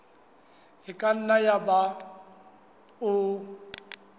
e ka nna yaba o